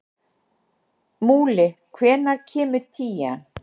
Múli, hvenær kemur tían?